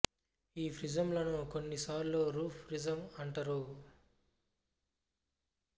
ఈ ప్రిజం లను కొన్ని సార్లు రూఫ్ ప్రిజం అంటరు